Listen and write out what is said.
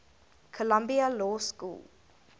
columbia law school